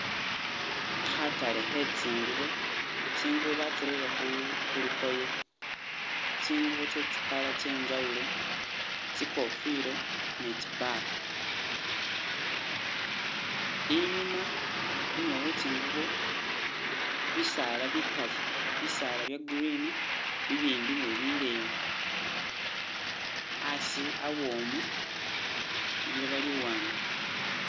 Khatale khe tsingubo, tsingubo batsireye khu- khulukoye, tsingubo tse tsi color tse njawulo, tsi kofila ne tsi bag, inyuma- inyuma we tsingubo bisaala bikali, bisaala bya green, bi bimbi ne bileyi, asi awomu, liloba li wanga